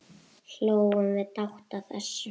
Hlógum við dátt að þessu.